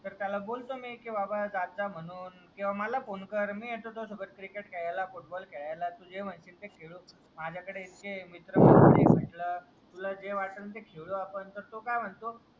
तर त्याला बोलतो मी बाबा जा जात जा म्हणून किंवा मला फोने कर मी येतो तुझा सोबत क्रिकेट खेळायला फुटबॉल खेळायला जे म्हणशील ते खेळू माझा कडे इतके मित्र कंपनी आहे म्हंटलं तुला जे वाटलं ते खेळू तर तो काय म्हणतो